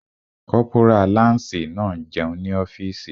Kọ́pórà láǹsì náà n jẹun ní ọ́fìsì